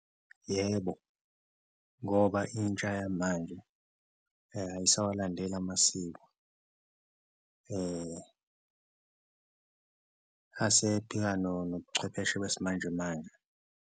Yebo, ngoba intsha yamanje ayisawalandeleli amasiko asephika nobuchwepheshe besimanjemanje.